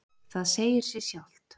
Það segir sig sjálft.